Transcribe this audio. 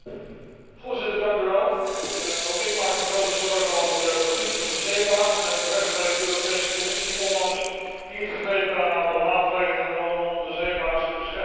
Voorziter, ook ik maak me grote zorgen over de positie van de zeebaars en terecht heeft de Europese Commissie onlangs ingegrepen en een aantal maatregelen genomen om de zeebaars te beschermen.